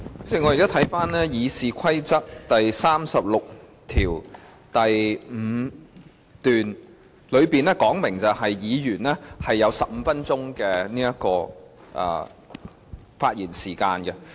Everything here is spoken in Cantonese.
主席，我剛翻查了《議事規則》第365條，當中訂明議員會有15分鐘的發言時間。